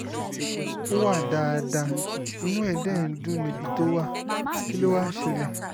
ó wà dáadáa inú ẹ dé ń dùn níbi tó wà kí ló wàá ṣẹlẹ̀